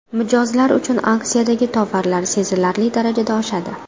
Mijozlar uchun aksiyadagi tovarlar sezilarli darajada oshadi.